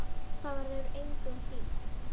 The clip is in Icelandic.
Það verður engum hlíft!